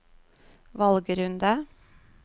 valgrunde